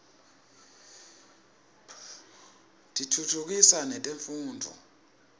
tiftutfukisa netemfundvo